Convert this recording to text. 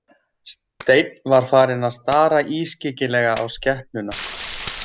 Steinn var farinn að stara ískyggilega á skepnuna.